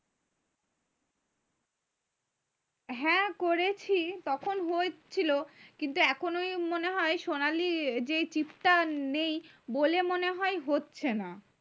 হ্যাঁ করেছি তখন হচ্ছিলো কিন্তু এখন ওই মনে হয় সোনালী যে টা নেই বলে মনে হয় হচ্ছে না